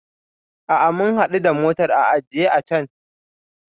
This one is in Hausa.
A'a, mun hadu da motar a ajiye a can.